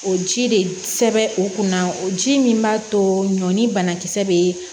O ji de sɛbɛn o kunna o ji min b'a to ɲɔɔn ni banakisɛ be